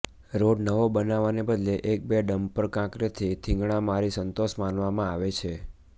road નવો બનાવવાને બદલે એક બે ડમ્પર કાંકરીથી થીગડા મારી સંતોષ માનવામાં આવે છે